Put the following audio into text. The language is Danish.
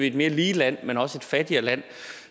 et mere lige land men også et fattigere land